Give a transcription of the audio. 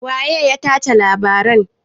Waye ya tace labarin?